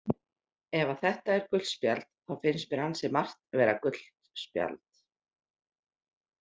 Ef að þetta er gult spjald þá finnst mér ansi margt vera gult spjald.